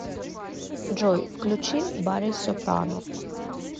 джой включи барри сопрано